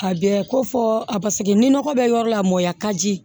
A bɛɛ ko fɔ a paseke ni nɔgɔ bɛ yɔrɔ la mɔya ka ji